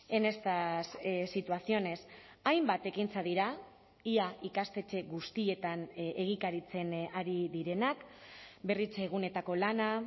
en estas situaciones hainbat ekintza dira ia ikastetxe guztietan egikaritzen ari direnak berritzeguneetako lana